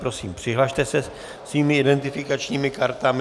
Prosím, přihlaste se svými identifikačními kartami.